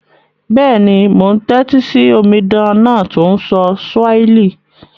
Béèni, mo n tẹ́tí si omidan náà to n sọ Swahili